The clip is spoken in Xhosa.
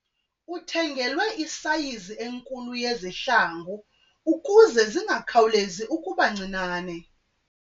Uthengelwe isayizi enkulu yezihlangu ukuze zingakhawulezi ukuba ncinane.